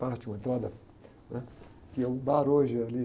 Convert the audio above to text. parte, uma entrada, né? Que é um bar hoje ali.